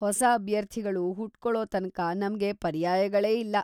ಹೊಸ ಅಭ್ಯರ್ಥಿಗಳು ಹುಟ್ಕೊಳೋ ತನಕ ನಮ್ಗೆ ಪರ್ಯಾಯಗಳೇ ಇಲ್ಲ.